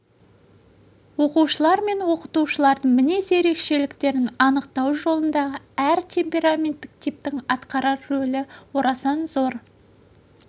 оқушылар мен оқытушылардың мінез ерекшеліктерін анықтау жолындағы әр темпераменттік типтің атқарар рөлі орасан зор